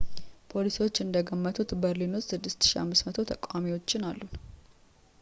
ፖሊሶች እንደገመቱት በርሊን ውስጥ 6,500 ተቃዋሚዎችን አሉ